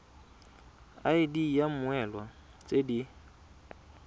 id ya mmoelwa tse di